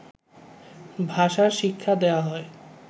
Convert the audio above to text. ভাষার শিক্ষা দেয়া হয়